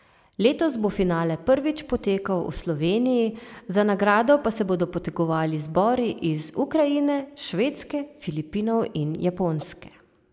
Letos bo finale prvič potekal v Sloveniji, za nagrado pa se bodo potegovali zbori iz Ukrajine, Švedske, Filipinov in Japonske.